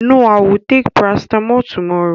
No, I will take paracetamol tommorow